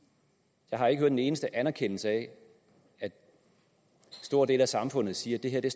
jeg har ikke hørt en eneste anerkendelse af at en stor del af samfundet siger at det